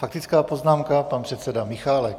Faktická poznámka pan předseda Michálek.